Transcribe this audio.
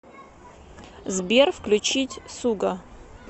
сбер включить суга